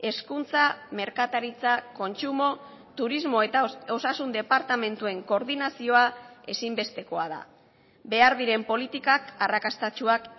hezkuntza merkataritza kontsumo turismo eta osasun departamentuen koordinazioa ezinbestekoa da behar diren politikak arrakastatsuak